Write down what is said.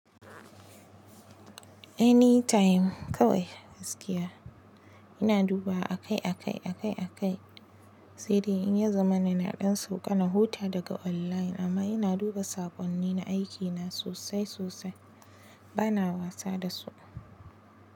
Anytime kawai gaskiya ina duba akai akai akai akai. Sai dai in ya zamana na ɗan sauƙa na huta daga online amma ina duba saƙonnin na aikina sosai sosai bana wasa dasu.